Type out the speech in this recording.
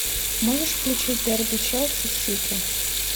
можешь включить дерби челси сити